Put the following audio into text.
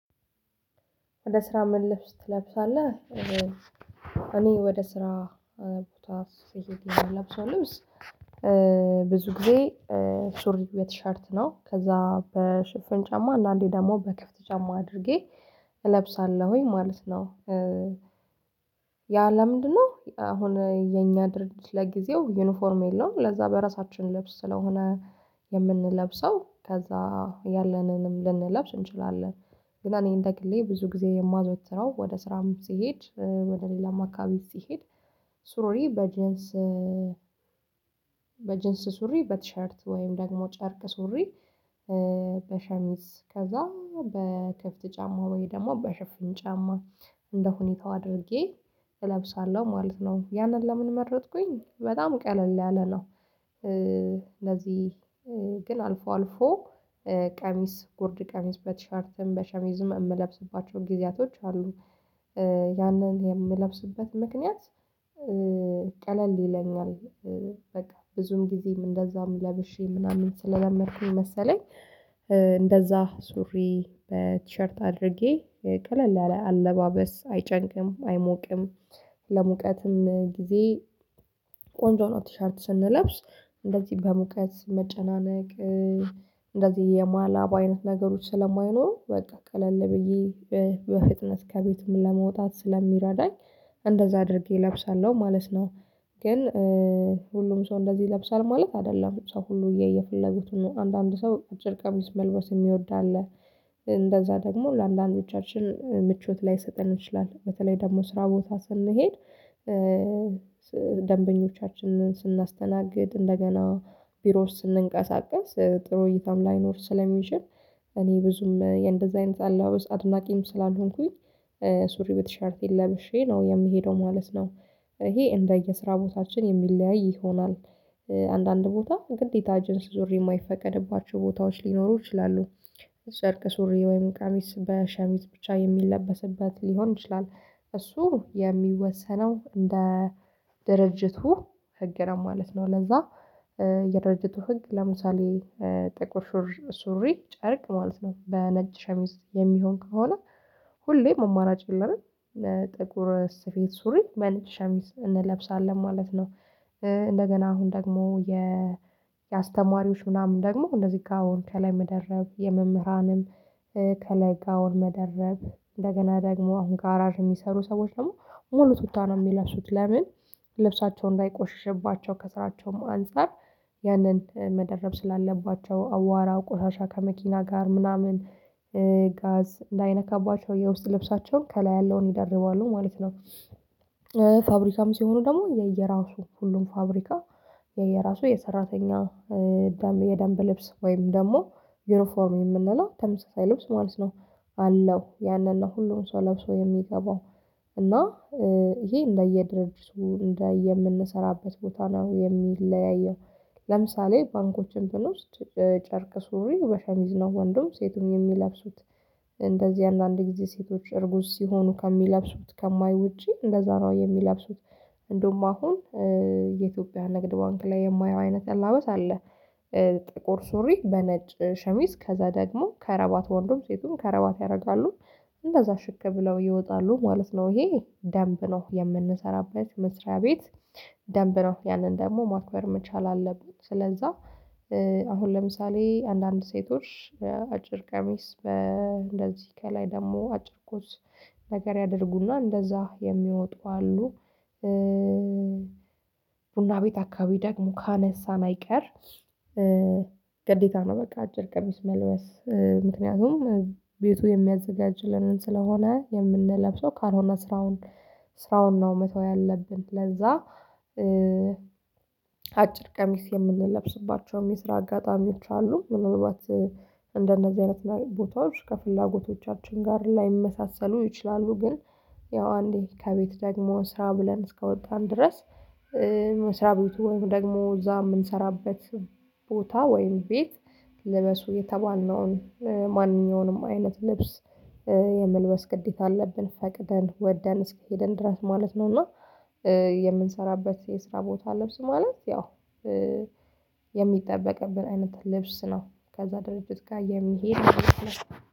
ወደ ስራ ምን ልብስ ትለብሳለህ? እኔ ወደ ስራ ቦታ ስሄድ የምለብሰው ልብስ። ብዙ ጊዜ ሱሪ በቲሸርት ነው ከዛ በሽፍን ጫማ አንዳንዴ ደግሞ በክፍት ጫማ አድርጌ እለብሳለሁኝ ማለት ነው። ያ ለምንድነው አሁን የኛ ድርጅት ለጊዜው ዩኒፎርም የለውም ለዛ በራሳችን ልብስ ስለሆነ የምንለብሰው ከዛ ያለንንም ልንለብስ እንችላለን። ግን እኔ እንደግሌ ብዙ ጊዜ የማዘወትረው ወደ ስራም ስሄድ ወደ ሌላም አካባቢ ስሄድ። ሱሪ በጀንስ በጀንስ ሱሪ በቲሸርት ወይም ደግሞ ጨርቅ ሱሪ። በሸሚዝ ከዛ በክፍት ጫማ ወይ ደግሞ በሸፍን ጫማ እንደ ሁኔታው አድርጌ እለብሳለሁ ማለት ነው። ያንን ለምን መረጥኩኝ በጣም ቀለል ያለ ነው። ለዚህ ግን አልፎ አልፎ ቀሚስ ጉርድ ቀሚስ በቲሸርትም በሸሚዝም የምለብስባቸውን ጊዜያቶች አሉኝ። ያንን የምለብስበት ምክንያት ቀለል ይለኛል። በቃ ብዙም ጊዜም እንደዛም ለብሼ ምናምን ስለለመድኩኝ መሰለኝ። እንደዛ ሱሪ በቲሸርት አድርጌ ቀለል ያለ አለባበስ አይጨንቅም አይሞቅም። ለሙቀትም ጊዜ ቆንጆ ነው ቲሸርት ስንለብስ እንደዚህ በሙቀት መጨናነቅ። እንደዚህ የማላባ አይነት ነገሮች ስለማይኖሩ በቃ ቀለል ብዬ በፍጥነት ከቤትም ለመውጣት ስለሚረዳኝ እንደዛ አድርጌ እለብሳለሁ ማለት ነው። ግን ሁሉም ሰው እንደዚህ ይለብሳል ማለት አይደለም ሰው ሁሉ የፈለጉትን አንዳንድ ሰው አጭር ቀሚስ መልበስ የሚወድ አለ። እንደዛ ደግሞ ለአንዶቻችን ምቾት ላይሰጠን ይችላል በተለይ ደግሞ ስራ ቦታ ስንሄድ። ደንበኞቻችንን ስናስተናግድ እንደገና ቢሮ ስንንቀሳቀስ ጥሩ እይታም ላይኖር ስለሚችል እኔ ብዙም የእንደዛ አይነት አለባበስ አድናቂም ስላልሆንኩኝ። ሱሪ በቲሸርቴን ለብሼ ነው የምሄደው ማለት ነው። ይሄ እንደየስራ ቦታችን የሚለያይ ይሆናል። አንዳንድ ቦታ ግዴታ ጅንስ ሱሪ የማይፈቀድባቸው ቦታዎች ሊኖሩ ይችላሉ። ጨርቅ ሱሪ ወይም ቀሚስ በሸሚዝ ብቻ የሚለበስበት ሊሆን ይችላል። እሱ የሚወሰነው እንደ ድርጅቱ ህግ ነው ማለት ነው። ለዛ የድርጅቱ ህግ ለምሳሌ ጥቁር ሱሪ ጨርቅ ማለት ነው። በነጭ ሸሚዝ የሚሆን ከሆነ ሁሌ አማራጭ ይለንም። ጥቁር ስፌት ሱሪ በነጭ ሸሚዝ እንለብሳለን ማለት ነው። እንደገና አሁን ደግሞ የ የአስተማሪዎች ምናምን ደግሞ እንደዚህ ጋውን ከላይ መደረብ የመምህራንም ከላይ ጋውን መደረብ እንደገና ደግሞ አሁን ጋራጅ የሚሰሩ ሰዎች ደግሞ ሙሉ ቱታ ነው የሚለብሱት ለምን? ልብሳቸው እንዳይቆሽሽባቸው ከስራቸውም አንፃር ያንን መደረብ ስላለባቸው አዋራ ቆሻሻ ከመኪና ጋር ምናምን ጋዝ እንዳይነካባቸው የውስጥ ልብሳቸውን ከላይ ያለውን ይደርባሉ ማለት ነው። ፋብሪካም ሲሆኑ ደግሞ የየራሱ ሁሉም ፋብሪካ የየራሱ የሰራተኛ የደንብ ልብስ ወይም ደግሞ ዩኒፎርም የምንለው ተመሳሳይ ልብስ ማለት ነው። አለው ያንን ነው ሁሉም ሰው ለብሶ የሚገባው። እና ይሄ እንደየድርጅቱ እንደ የምንሰራበት ቦታ ነው የሚለያየው። ለምሳሌ ባንኮች ብንወስድ ጨርቅ ሱሪ በሸሚዝ ነው ወንዱም ሴቱም የሚለብሱት። እንደዚህ አንዳንድ ጊዜ ሴቶች እርጉዝ ሲሆኑ ከሚለብሱት ከማይ ውጪ እንደዛ ነው የሚለብሱት። እንደውም አሁን የኢትዮጵያ ንግድ ባንክ ላይ የማየው አይነት አለባበስ አለ። ጥቁር ሱሪ በነጭ ሸሚዝ ከዛ ደግሞ ከረባት ወንዱም ሴቱም ከረባት ያደርጋሉ። እንደዛ ሽክ ብለው ይወጣሉ ማለት ነው ይሄ ደንብ ነው የምንሰራበት መስሪያ ቤት። ደንብ ነው ያንን ደግሞ ማክበር መቻል አለብን ስለዛ። አሁን ለምሳሌ አንዳንድ ሴቶች አጭር ቀሚስ በእንደዚህ ከላይ ደግሞ አጭር ቶፕስ ነገር ያደርጉ እና እንደዛ የሚወጡ አሉ። ቡና ቤት አካባቢ ደግሞ ካነሳን አይቀር ግዴታ ነው በቃ አጭር ቀሚስ መልበስ ምክንያቱም ቤቱ የሚያዘጋጅልንን ስለሆነ የምንለብሰው ካልሆነ ስራውን ስራውን ነው መተው ያለብን ለዛ። አጭር ቀሚስ የምንለብስባቸውም የስራ አጋጣሚዎች አሉ ምናልባት እንደነዚህ አይነት ቦታዎች ከፍላጎቶቻችን ጋር ላይመሳሰሉ ይችላሉ። ግን ያው አንዴ ከቤት ደግሞ ስራ ብለን እስከወጣን ድረስ። መስሪያ ቤቱ ወይም ደግሞ እዛ የምንሰራበት ቦታ ወይም ቤት ልበሱ የተባልነውን ምንኛውንም አይነት ልብስ የመልበስ ግዴታ አለብን ፈቅደን ወደን እስከሄድን ድረስ ማለት ነው። እና የምንሰራበት የስራ ቦታ ልብስ ማለት ያው የሚጠበቅብን አይነት ልብስ ነው። ከዛ ድርጅት ጋር የሚሄድ ማለት ነው።